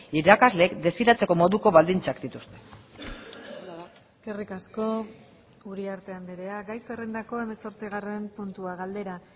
irakasleek desiratzeko moduko baldintzak dituzte eskerrik asko uriarte andrea gai zerrendako hemezortzigarren puntua galdera